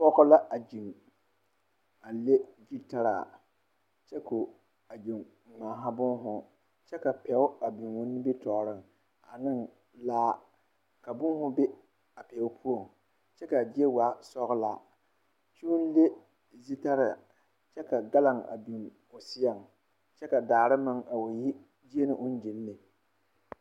Pͻge la a gyiŋ, a le gyutaraa, kyԑ ko o a gyiŋ ŋmaara boohoo, kyԑ ka pԑo a biŋi o nimitͻͻreŋ aneŋ laa. Ka booho be a pԑo poͻŋ kyԑ ka a zie waa sͻgelaa kyoo le zutaraa ky3 ka galoŋ a biŋ o seԑ kyԑ ka daare meŋ a wa yi gyeԑ ne.